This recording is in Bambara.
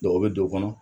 o bɛ don o kɔnɔ